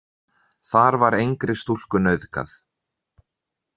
Þar var engri stúlku nauðgað.